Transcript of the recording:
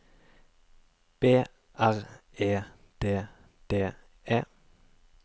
B R E D D E